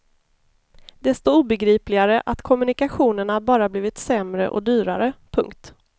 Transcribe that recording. Desto obegripligare att kommunikationerna bara blivit sämre och dyrare. punkt